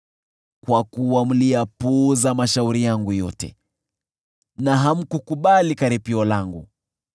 kwa kuwa mliyapuuza mashauri yangu yote na hamkukubali karipio langu,